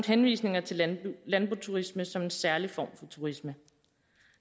henvisninger til landboturisme som en særlig form for turisme